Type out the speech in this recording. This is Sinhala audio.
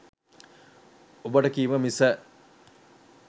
ඔබට කීම මිස